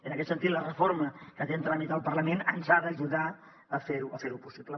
en aquest sentit la reforma que té en tràmit el parlament ens ha d’ajudar a fer ho possible